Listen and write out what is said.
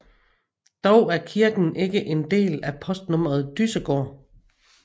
Dog er kirken ikke en del af postnummeret Dyssegård